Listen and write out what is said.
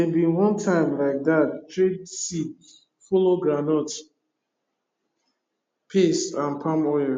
dey bin one time like that trade seed follow groundnut paste and palm oil